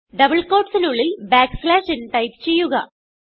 double quoteസിനുള്ളിൽ backslash n type ചെയ്യുക